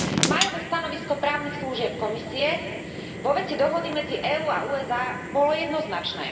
Májové stanovisko právnych služieb Komisie vo veci dohody medzi EÚ a USA bolo jednoznačné.